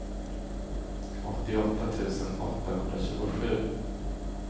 åttioåtta tusen åttahundratjugosju